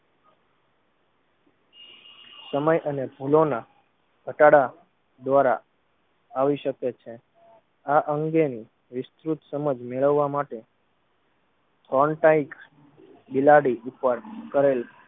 સમય અને ફૂલોના ઘટાડા દ્વારા આવી શકે છે. આ અંગેની વિસ્તૃત સમજ મેળવવા માટે Frontain બિલાડી ઉપર કરેલ